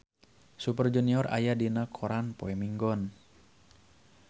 Super Junior aya dina koran poe Minggon